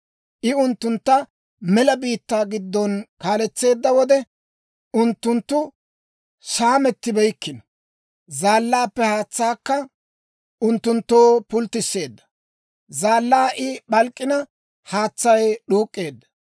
I unttuntta mela biittaa giddona kaaletseedda wode, unttunttu saamettibeykkino. Zaallaappe haatsaakka unttunttoo pulttisseedda; zaallaa I p'alk'k'ina, haatsay d'uuk'k'eedda.